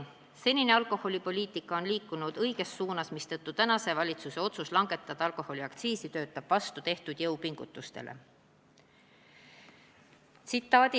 Senine alkoholipoliitika on liikunud seega õiges suunas, mistõttu tänase valitsuse otsus langetada alkoholiaktsiisi töötab vastu tehtud jõupingutustele.